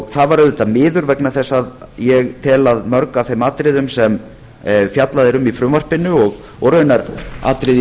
það var auðvitað miður vegna þess að ég tel að mörg af þeim atriðum sem fjallað er um í frumvarpinu og raunar atriði í